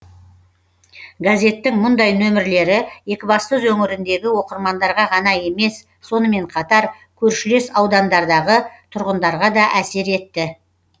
газеттің мұндай нөмірлері екібастұз өңіріндегі оқырмандарға ғана емес сонымен қатар көршілес аудандардағы тұрғындарға да әсер етті